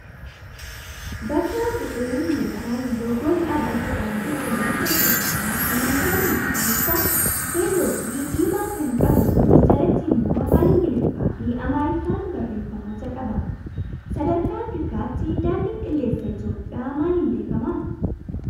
Bakka bu'een yookaan loogoon dhaabbata daandii qilleensa Itoophiyaa halluuwwan magariisa, keelloo fi diimaa kan qabuu fi jalatti immoo afaan ingiliffaa fi amaariffaan barreeffamoota qaba. Sadarkaa afrikaatti daandiin qilleensa Itoophiyaa maaliin beekamaa?